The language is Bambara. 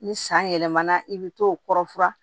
Ni san yɛlɛmana i bɛ t'o kɔrɔ furan